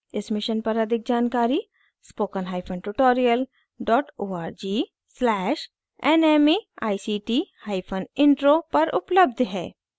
इस mission पर अधिक जानकारी spokentutorial org/nmeictintro पर उपलब्ध है